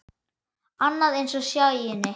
Annað eins hjá Sæunni.